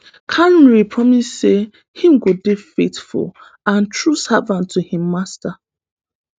carney promise say im go dey faithful and true servant to im majesty